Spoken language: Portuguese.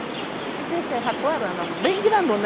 E o peixe ratoarana, bem grandona.